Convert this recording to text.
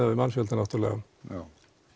við mannfjölda já